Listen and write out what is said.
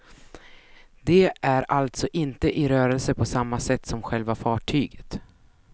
De är alltså inte i rörelse på samma sätt som själva fartyget.